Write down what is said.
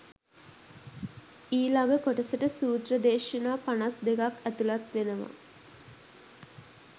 ඊළඟ කොටසට සූත්‍ර දේශනා පනස් දෙකක් ඇතුළත් වෙනවා